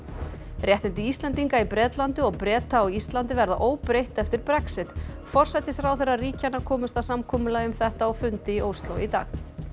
réttindi Íslendinga í Bretlandi og Breta á Íslandi verða óbreytt eftir Brexit forsætisráðherrar ríkjanna komust að samkomulagi um þetta á fundi í Ósló í dag